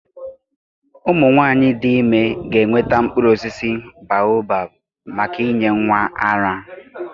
Ụmụ nwanyị dị ime ga-enweta mkpụrụ osisi baobab maka inye nwa ara.